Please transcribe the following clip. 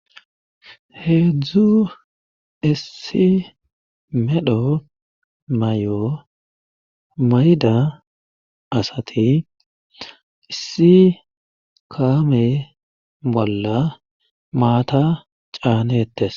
heedzdzu issi medho mayo mayda asati issi kaame bolla maata caanettes